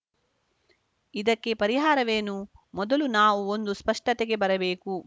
ಇದಕ್ಕೆ ಪರಿಹಾರವೇನು ಮೊದಲು ನಾವು ಒಂದು ಸ್ಪಷ್ಟತೆಗೆ ಬರಬೇಕು